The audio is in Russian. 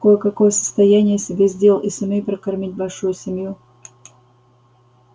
кое-какое состояние я себе сделал и сумею прокормить большую семью